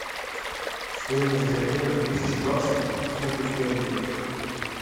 стоимость обмена тысячи баксов к фунту стерлингов